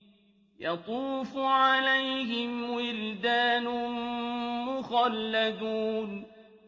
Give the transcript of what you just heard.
يَطُوفُ عَلَيْهِمْ وِلْدَانٌ مُّخَلَّدُونَ